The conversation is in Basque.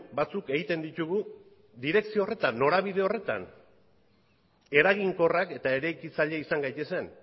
batzuk egiten ditugu direkzio horretan norabide horretan eraginkorrak eta eraikitzaile izan gaitezen